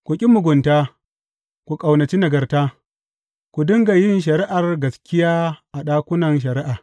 Ku ƙi mugunta, ku ƙaunaci nagarta; ku dinga yin shari’ar gaskiya a ɗakunan shari’a.